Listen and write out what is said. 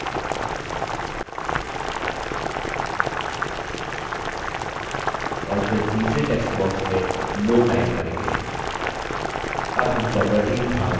और फिर तीसरे text box में no type करें